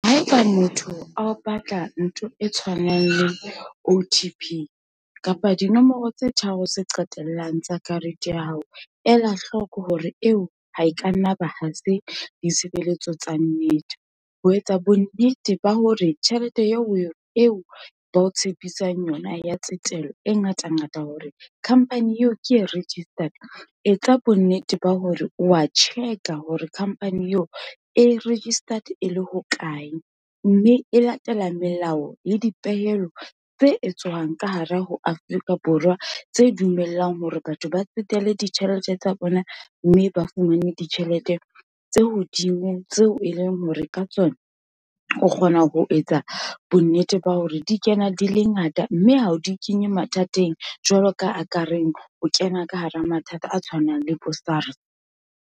Haeba motho a o batla ntho e tshwanang le O_T_P, kapa dinomoro tse tharo tse qetellang tsa karete ya hao. Ela hloko hore eo ha e ka nna ba ha se ditshebeletso tsa nnete, ho etsa bonnete ba hore tjhelete eo ba o tshepisang yona ya tsetelo, e ngata ngata hore khampani eo ke e registered, etsa bonnete ba hore o wa check-a, hore khampani eo e registered e le hokae. Mme e latela melao le dipehelo tse etswang ka hare ho Afrika Borwa, tse dumellang hore batho ba tsetele ditjhelete tsa bona, mme ba fumane ditjhelete tse hodimo, tseo e leng hore ka tsona, o kgona ho etsa bonnete ba hore di kena di le ngata, mme ha o di kenye mathateng, jwalo ka ha ka reng o kena ka hara mathata a tshwanang le bo SARS.